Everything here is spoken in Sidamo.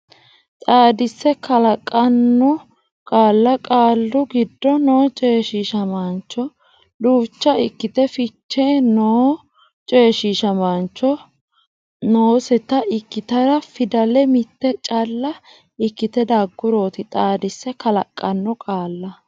xaadisse kalaqqanno qaalla Qaalu giddo noo coyshiishamaancho duucha ikkite fiche noonsata ikkitara fidale mitte calla ikkite daggurooti xaadisse kalaqqanno qaalla.